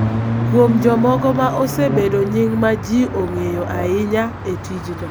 kuom jomoko ma osebedo nying� ma ji ong�eyo ahinya e tijno.